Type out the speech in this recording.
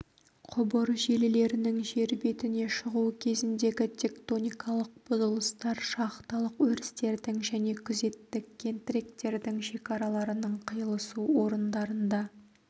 құбыр желілерінің жер бетіне шығу кезіндегі тектоникалық бұзылыстар шахталық өрістердің және күзеттік кентіректердің шекараларының қиылысу орындарында